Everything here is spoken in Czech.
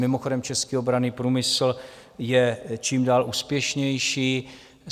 Mimochodem, český obranný průmysl je čím dál úspěšnější.